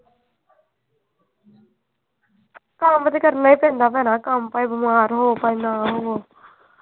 ਕੰਮ ਤੇ ਕਰਨਾ ਈ ਪੈਂਦਾ ਭੈਣਾਂ ਕੰਮ ਭਾਵੇਂ ਬਿਮਾਰ ਹੋ ਭਾਵੇਂ ਨਾ ਹੋ।